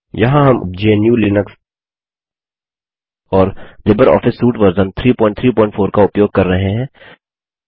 यहाँ हम GNUलिनक्स और लिबर ऑफिस सूट वर्जन 334 का उपयोग कर रहे हैं